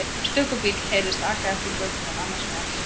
Stöku bíll heyrðist aka eftir götunni en annars var allt hljótt.